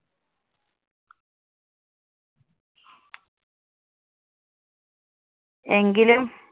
എങ്കിലും